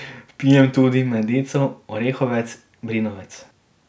Pijem tudi medico, orehovec, brinovec.